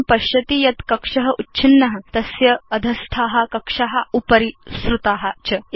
भवान् पश्यति यत् कक्ष उच्छिन्न तस्य अधस्था कक्षा उपरि सृता च